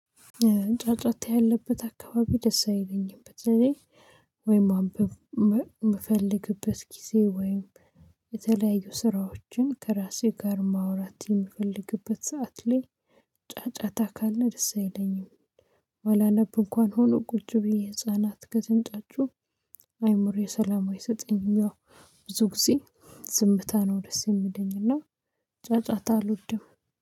ጫጫታ ያለበት አካባቢ ደስ አይለኝም በተለይ ወይም ማንበብ የምፈልግበት ጊዜ ወይም የተለያዩ ስራዎችን ከራሴ ጋር ማውራት የምፈልግበት ሰዓት ላይ ጫጫታ ካለ ደስ አይለኝም። ባላነብ እንኳን ሆኖ ቁጭ ብዬ ህፃናት ከተንጫጩ አይምሮዬ ሰላም አይሰጠኝም ብዙ ጊዜ። ዝምታ ነው ደስ የሚለኝ እና ጫጫታ አልወድም።